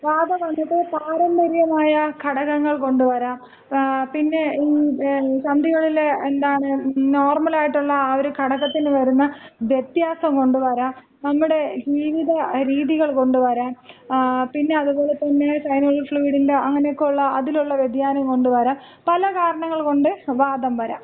വാതം വന്നിട്ട് പാര്യമ്പര്യമായ ഘടകങ്ങൾ കൊണ്ട് വരാം. പിന്നെ സന്ധികളിലെ, എന്താണ്, ഈ നോർമലായിട്ടുള്ള ആ ഒരു ഘടകത്തിന് വരുന്ന വ്യത്യാസം കൊണ്ട് വരാം, നമ്മുടെ ജീവിത രീതികൾ കൊണ്ട് വരാം, ങാ, പിന്നെ അത് പോലെ തന്നെ സൈനൽ ഫ്യൂയിഡിന്‍റെ അങ്ങനൊക്കെയുള്ള അതിലുള്ള വ്യതിയാനംകൊണ്ട് വരാം, പല കാരണങ്ങൾ കൊണ്ട് വാതം വരാം.